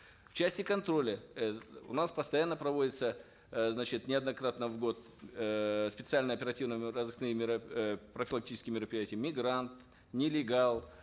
в части контроля э у нас постоянно проводятся э значит неоднократно в год эээ специальные оперативно разыскные э профилактические мероприятия мигрант нелегал